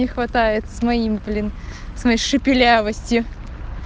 не хватает своим блин с моей шепелявостью